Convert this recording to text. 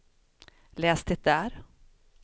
läs det där